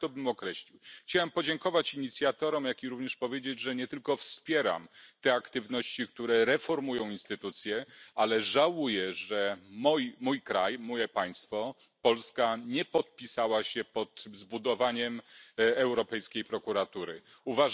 Tak to bym określił. Chciałem podziękować inicjatorom, jak również powiedzieć, że nie tylko wspieram te aktywności, które reformują instytucje, ale żałuję, że mój kraj, moje państwo Polska nie podpisała się pod zbudowaniem Prokuratury Europejskiej.